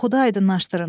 Oxudu aydınlaşdırın.